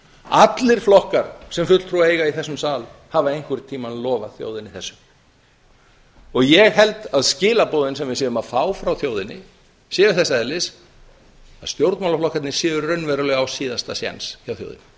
allir flokkar sem fulltrúa eiga í þessum sal hafa einhvern tímann lofað þjóðinni þessu ég held að skilaboðin sem við fáum frá þjóðinni séu þess eðlis að stjórnmálaflokkarnir séu raunverulega á síðasta séns hjá þjóðinni